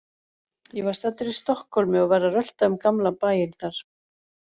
Ég var staddur í Stokkhólmi og var að rölta um gamla bæinn þar.